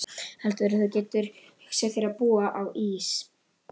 Heldurðu að þú getir hugsað þér að búa á Ís